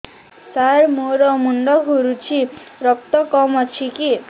ସାର ମୋର ମୁଣ୍ଡ ଘୁରୁଛି ରକ୍ତ କମ ଅଛି କି